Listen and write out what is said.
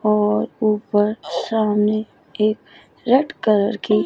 और ऊपर सामने एक रेड कलर की--